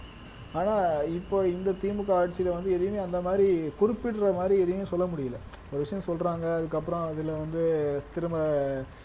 ஆனா இப்ப இந்த திமுக ஆட்சியில வந்து எதையுமே அந்த மாதிரி குறிப்பிடற மாதிரி எதையும் சொல்ல முடியலை ஒரு விஷயம் சொல்றாங்க அதுக்கப்புறம் அதுல வந்து திரும்ப